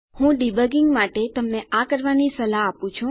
હું ડીબગીંગ માટે તમને આ કરવાની સલાહ આપું છું